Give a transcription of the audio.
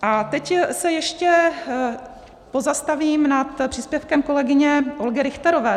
A teď se ještě pozastavím nad příspěvkem kolegyně Olgy Richterové.